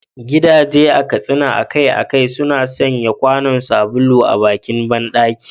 Gidaje a Katsina akai-akai suna sanya kwanon sabulu a bakin bandaki.